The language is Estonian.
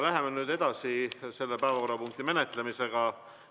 Läheme nüüd edasi selle päevakorrapunkti menetlemisega.